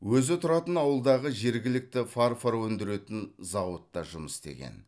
өзі тұратын ауылдағы жергілікті фарфор өндіретін зауытта жұмыс істеген